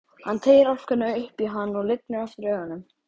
Hann teygir álkuna upp í hana og lygnir aftur augunum.